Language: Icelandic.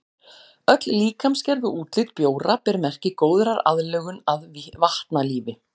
Öll líkamsgerð og útlit bjóra ber merki góðrar aðlögun að vatnalífi.